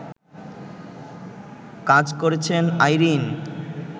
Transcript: কাজ করেছেন আইরিন